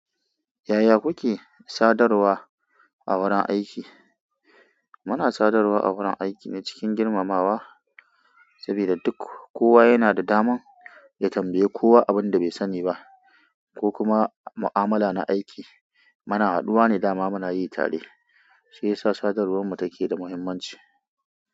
Yaya kuke sadarwa a wurin aiki? Muna sadarwa a wurin aiki ne cikin girmamawa, saboda duk kowa yana da daman ya tambaye kowa abin da bai sani ba ko kuma mu'amala na aiki. Mana haduwa ne dama muna yi tare, shi yasa sadarwar mu take da muhimmanci.